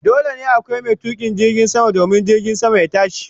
Dole ne akwai mai tukin jirgin sama domin jirgin sama ya tashi sama.